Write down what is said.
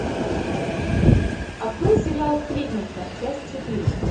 открой сериал сплетница часть четыре